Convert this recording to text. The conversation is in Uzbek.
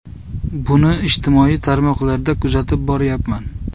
Buni ijtimoiy tarmoqlarda kuzatib boryapman.